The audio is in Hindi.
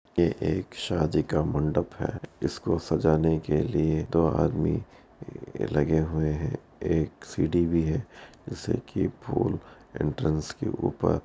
ये एक शादी का मंडप है इसको सजाने के लिए दो आदमी लगे हुए है एक सीढ़ी भी है जिससे की फूल एंट्रेंस के ऊपर --